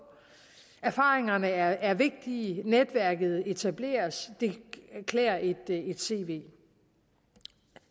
erfaringerne er vigtige netværket etableres og det klæder et cv